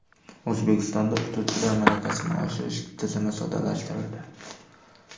O‘zbekistonda o‘qituvchilar malakasini oshirish tizimi soddalashtirildi.